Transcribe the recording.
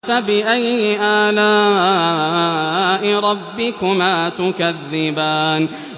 فَبِأَيِّ آلَاءِ رَبِّكُمَا تُكَذِّبَانِ